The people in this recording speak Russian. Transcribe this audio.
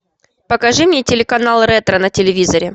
покажи мне телеканал ретро на телевизоре